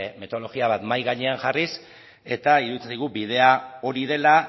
metodologia bat mahai gainean jarriz eta iruditzen zaigu bidea hori dela